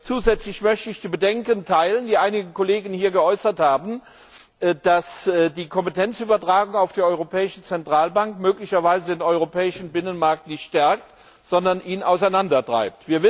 Zusätzlich möchte ich die Bedenken teilen, die einige Kollegen hier geäußert haben, dass die Kompetenzübertragung auf die Europäische Zentralbank möglicherweise den europäischen Binnenmarkt nicht stärkt, sondern ihn auseinandertreibt.